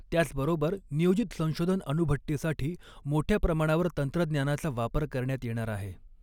त्याचबरोबर नियोजित संशोधन अणुभट्टीसाठी मोठ्या प्रमाणावर तंत्रज्ञानाचा वापर करण्यात येणार आहे.